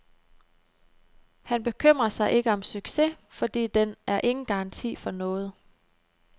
Han bekymrer sig ikke om succes, fordi den er ingen garanti for noget.